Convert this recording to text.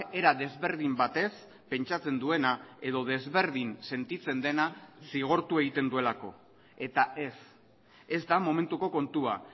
era desberdin batez pentsatzen duena edo desberdin sentitzen dena zigortu egiten duelako eta ez ez da momentuko kontua